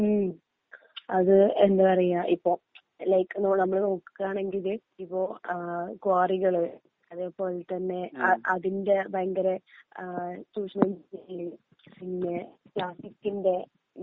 മ്ഹ് അത് എന്താ പറയാ ഇപ്പോ ലൈക് നമ്മള് നോക്കുകയാണെങ്കില് ഇപ്പോ ആ ക്വാറികള് അതേ പോലെ തന്നെ അതിന്റെ ഭയങ്കര ആ ചൂഷണം ചെയ്യല് പിന്നെ പ്ലാസ്റ്റിക്കിന്റെ